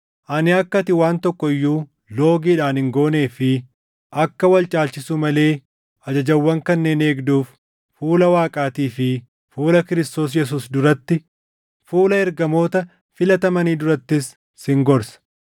Ani akka ati waan tokko iyyuu loogiidhaan hin goonee fi akka wal caalchisuu malee ajajawwan kanneen eegduuf fuula Waaqaatii fi fuula Kiristoos Yesuus duratti, fuula ergamoota filatamanii durattis sin gorsa.